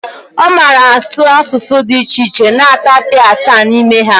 Ọ mara asụ asụsụ dị iche iche na tapia asaa n'ime ha